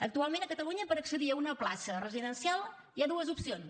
actualment a catalunya per accedir a una plaça residencial hi ha dues opcions